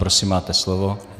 Prosím, máte slovo.